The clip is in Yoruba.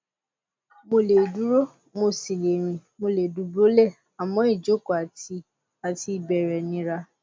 mo lè dúró mo sì le rìn mo lè dùbúlẹ àmọ ìjókòó àti àti ìbẹrẹ nira